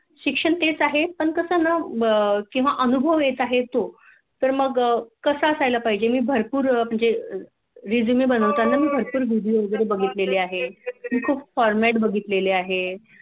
शिक्षण तेच हं पण कसं न किंवा अनुभव येत आहे तो तर मग कस असायला पाहीजे मी भरपूर म्हणजे Resume बनविताना भरपूर Video वैगेरे बघतील आहे मी खूप Format बघितलेलं आहे